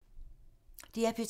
DR P2